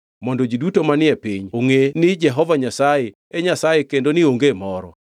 mondo ji duto manie piny ongʼe ni Jehova Nyasaye e Nyasaye kendo ni onge moro.